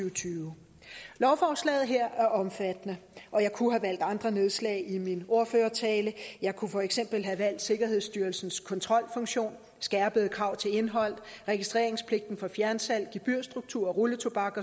og tyve lovforslaget her er omfattende og jeg kunne have valgt andre nedslag i min ordførertale jeg kunne for eksempel have valgt sikkerhedsstyrelsens kontrolfunktion skærpede krav til indhold registreringspligten for fjernsalg gebyrstruktur rulletobak